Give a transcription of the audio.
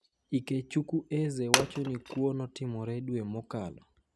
Ikechuku Eze wacho ni kuo no otimore dwe mokalo.